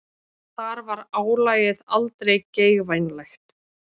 Þar var álagið aldrei geigvænlegt.